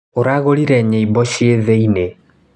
Ũragũrire nyĩmbo ciĩ thĩinĩ.